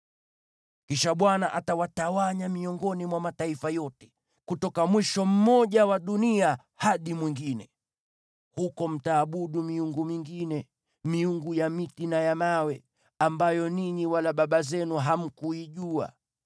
Kisha Bwana atawatawanya miongoni mwa mataifa yote, kutoka mwisho mmoja wa dunia hadi mwingine. Huko mtaabudu miungu mingine, miungu ya miti na ya mawe, ambayo ninyi wala baba zenu hamkuijua.